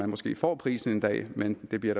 måske får prisen en dag men det bliver